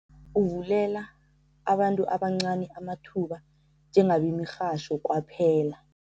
Uvulela abantu abancani amathuba njengabemirhatjho kwaphela